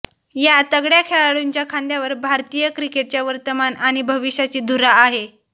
या तगड्या खेळाडूंच्या खांद्यावर भारतीय क्रिकेटच्या वर्तमान आणि भविष्याची धूरा आहे